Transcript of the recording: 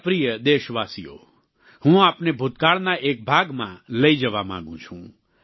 મારા પ્રિય દેશવાસીઓ હું આપને ભૂતકાળના એક ભાગમાં લઈ જવા માંગુ છું